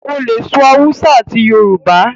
o lẹ sọ Hausa àti Yorùbá.